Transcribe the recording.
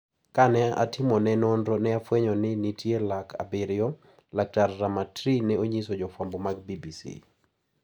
"Ka ne atimone nonro ne afwenyo ni nitie lake abiriyo," laktar Ramatri ne onyiso jofwambo mag BBC.